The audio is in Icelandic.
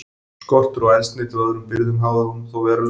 Skortur á eldsneyti og öðrum birgðum háði honum þó verulega.